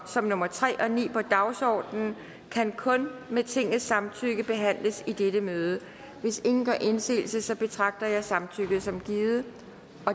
som nummer tre og ni på dagsordenen kan kun med tingets samtykke behandles i dette møde hvis ingen gør indsigelse betragter jeg samtykket som givet